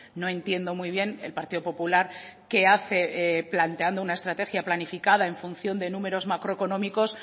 no entiendo muy bien el partido popular qué hace planteando una estrategia planificada en función de números macroeconómicos